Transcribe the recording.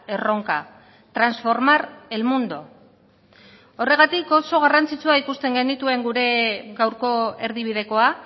erronka transformar el mundo horregatik oso garrantzitsua ikusten genituen gure gaurko erdibidekoa